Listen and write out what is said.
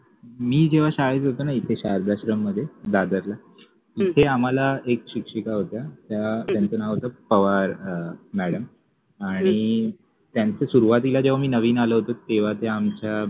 मि जेव्हा शाळेत होतो न इथे शारदाश्रम मधे दादरला तिथे आम्हाला एक शिक्षिका होत्या त्यांच नाव होत पवार मॅडम आणी त्यांच सुरुवातिला मि नविन आलो होतो तेव्हा ते आमच्या